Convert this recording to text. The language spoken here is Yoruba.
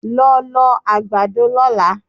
Lọ lọ àgbàdo lọ́la!